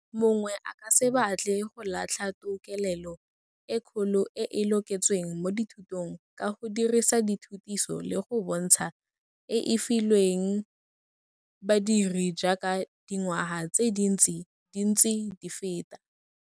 Mongwe a ka se batle go latlha tokelelo e kgolo e e loketsweng mo dithutong ka go dirisa dithutiso le go bontsha e e filweng badiri jaaka dingwaga tse dintsi di ntse di feta.